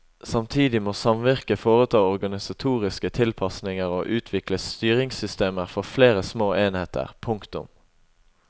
Samtidig må samvirket foreta organisatoriske tilpasninger og utvikle styringssystemer for flere små enheter. punktum